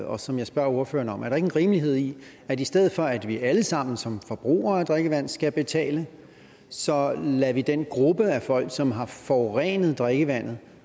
og som jeg spørger ordføreren om er der ikke en rimelighed i at i stedet for at vi alle sammen som forbrugere af drikkevand skal betale så lader vi den gruppe af folk som har forurenet drikkevandet